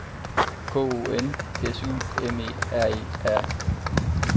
K O N S U M E R E R